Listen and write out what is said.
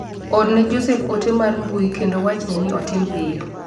Orne Jospeh ote mar mbui kendo wachne ni otim piyo.